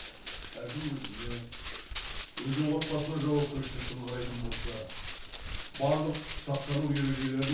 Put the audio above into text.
әркім өзіне өзінің отбасына жауапкершілікпен қарайтын болса барлық сақтану ережелерін